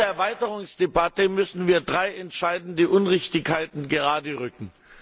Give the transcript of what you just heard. In dieser Erweiterungsdebatte müssen wir drei entscheidende Unrichtigkeiten geraderücken.